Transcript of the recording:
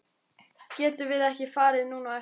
Getum við ekki farið núna á eftir?